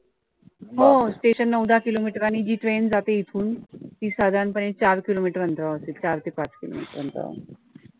हो station नऊ दहा किलो meter आणि ही train जाते इथून ती साधारणपणे चार किलो meter अंतरावरती चार ते पाच किलो meter अंतरावर